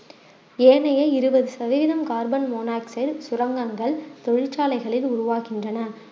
ஏனைய இருவது சதவீதம் கார்பன் மோனோசைட் சுரங்கங்கள் தொழிற்சாலைகளில் உருவாக்குகின்றன